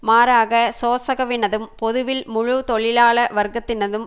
மாறாக சோசகவினதும் பொதுவில் முழு தொழிலாள வர்க்கத்தினதும்